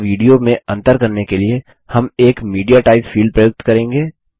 एक audioऑडियो और एक videoविडियो में अंतर करने के लिए हम एक मीडियाटाइप फील्ड प्रयुक्त करेंगे